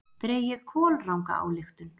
Dregið kolranga ályktun!